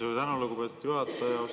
Suur tänu, lugupeetud juhataja!